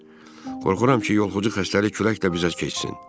Qorxuram ki, yoluxucu xəstəlik külək də bizə keçsin.